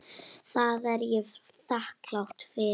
Það er ég þakklát fyrir.